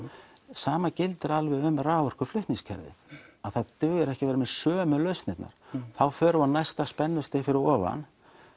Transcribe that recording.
sama gildir um raforkuflutningskerfið það dugar ekki að vera með sömu lausnirnar þá förum við á næsta spennustig fyrir ofan